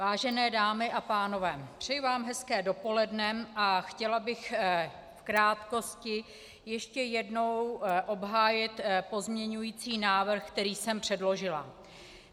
Vážené dámy a pánové, přeji vám hezké dopoledne a chtěla bych v krátkosti ještě jednou obhájit pozměňovací návrh, který jsem předložila.